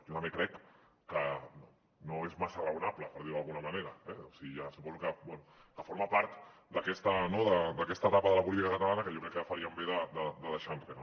jo també crec que no és massa raonable per dir ho d’alguna manera eh o sigui suposo que bé forma part d’aquesta etapa de la política catalana que jo crec que faríem bé de deixar enrere